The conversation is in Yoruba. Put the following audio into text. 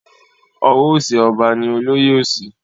Ọwọ òsì ọba ni olóyè òsì.